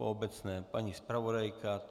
Po obecné paní zpravodajka?